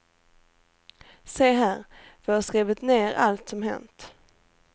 Se här, vi har skrivit ner allt som hänt.